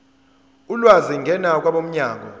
ulwazi ngena kwabomnyango